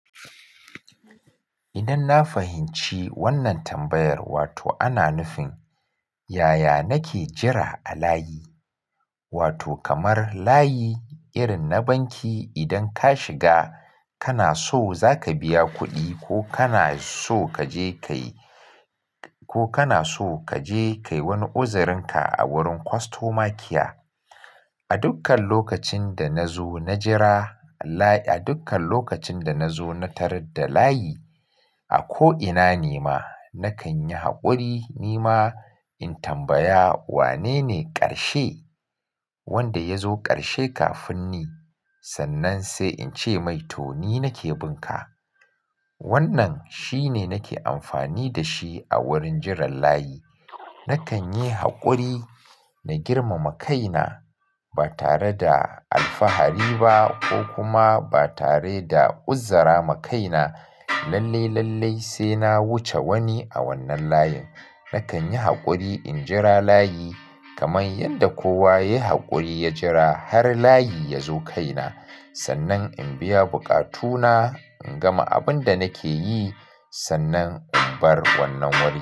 Idan na fahimci wannan tambayar wato ana nufin, yaya nake jira a layi? Wato kamar layi irin na banki. Idan ka shiga kana so za ka biya kuɗi ko kana so kaje kayi, ko kana so kaje kayi wani uzarin ka a wurin customer care. A dukkan lokacin da na zo na jira a layi, a dukkan lokacin da na zo na tarar da layi a ko'ina nema, nakan yi haƙuri. Nima in tambaya wanene ƙarshe, wanda ya zo ƙarshe kafin ni sannan sai in ce "Maito ni nake bunka." Wannan shine nake amfani da shi a wurin jiran layi. Nakan yi haƙuri, na girmama ai na ba tare da alfahari ba ko kuma ba tare da uzara makai na lalle, lalle sai na wuce wani a wannan layin. Nakan yi haƙuri in jira layi kamar yadda kowa ya yi haƙuri ya jira har layi ya zo kai na. Sannan in biya buƙatu na in gama abin da nake yi sannan in bar wannan wuri.